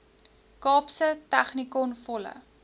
kaapse technikon volle